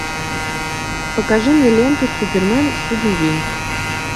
покажи мне ленту супермен судный день